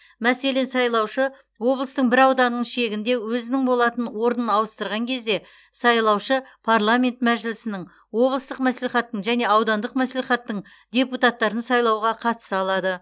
мәселен сайлаушы облыстың бір ауданының шегінде өзінің болатын орнын ауыстырған кезде сайлаушы парламент мәжілісінің облыстық мәслихаттың және аудандық мәслихаттың депутаттарын сайлауға қатыса алады